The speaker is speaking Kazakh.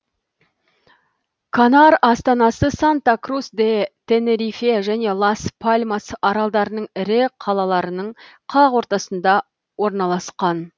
канар астанасы санта крус де тенерифе және лас пальмас аралдарының ірі қаларының қақ ортасында орналасқан